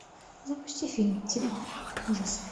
запусти фильм типа ужасов